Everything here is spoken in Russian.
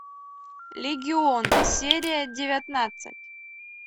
легион серия девятнадцать